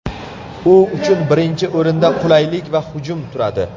U uchun birinchi o‘rinda qulaylik va hajm turadi.